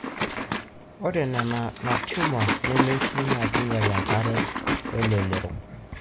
ore ena na tumour nemetii na kinyial enkera welelero.